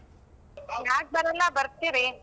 ಯಾಕ್ ಬರಲ್ಲ ಬರ್ತೀರಿ.